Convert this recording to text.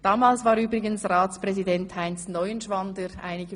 Damals war übrigens Heinz Neuenschwander der Ratspräsident.